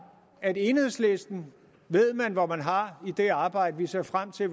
at enhedslisten ved man hvor man har i det arbejde vi ser frem til